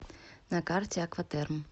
на карте акватерм